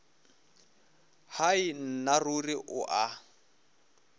hai nna ruri o a